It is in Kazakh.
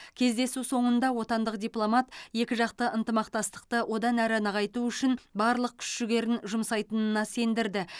кездесу соңында отандық дипломат екіжақты ынтымақтасты одан әрі нығайту үшін барлық күш жігерін жұмсайтынына сендірді